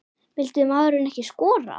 Vildi maðurinn ekki skora?